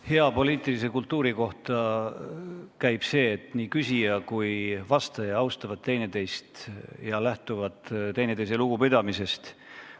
Hea poliitilise kultuuri juurde käib see, et küsija ja vastaja austavad teineteist ja lähtuvad teineteisest lugupidamisest.